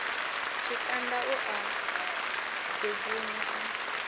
tshikanda u a ḓubunya a